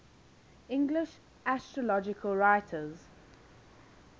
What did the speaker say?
english astrological writers